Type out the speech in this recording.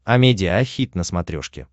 амедиа хит на смотрешке